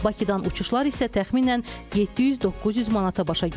Bakıdan uçuşlar isə təxminən 700-900 manata başa gəlir.